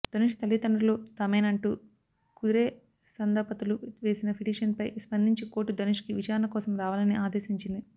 ధనుష్ తల్లిదండ్రులు తామేనంటూ కదిరేసన్దంపతులు వేసిన పిటిషన్ పై స్పదించి కోర్టు ధనుష్ కు విచారణ కోసం రావాలని అదేశించిది